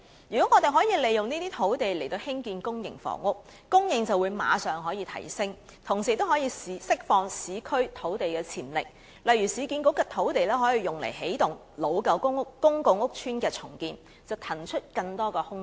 如果我們可以利用這些土地來興建公營房屋，供應便可以立即提升，同時亦可以釋放市區土地的潛力，例如市建局的土地可以用作起動舊公共屋邨的重建計劃，騰出更多空間。